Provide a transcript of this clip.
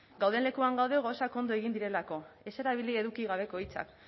gauden lekuan gaude gauzak ondo egin direlako ez erabili eduki gabeko hitzak